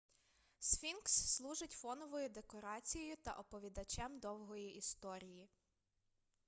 сфінкс служить фоновою декорацією та оповідачем довгої історії